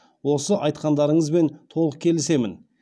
осы айтқандарыңызбен толық келісемін